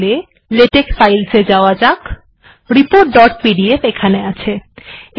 তাহলে LaTeX files এ যাওয়া যাক রিপোর্ট ডট পিডিএফ এখানে আছে